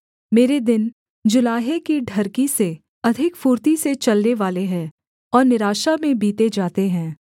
मेरे दिन जुलाहे की ढरकी से अधिक फुर्ती से चलनेवाले हैं और निराशा में बीते जाते हैं